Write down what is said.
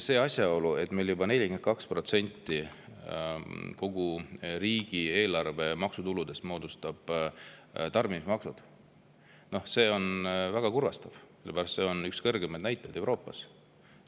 See asjaolu, et juba 42% kogu riigieelarve maksutuludest moodustavad tarbimismaksud, on väga kurvastav, sellepärast et see on üks kõrgemaid näitajaid Euroopas.